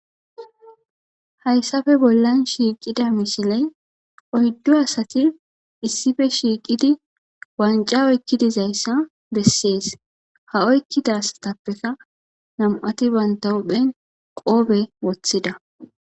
Hyssappe bollan shiqidda misilley oyddu asatti issippe shiqqidi wancca oyqqi dizzayssa besses a oyqqida asattappe nam77atti bentta huphen qobbe wothida.